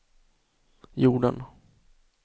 jorden